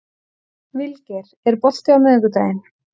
Vilgeir, er bolti á miðvikudaginn?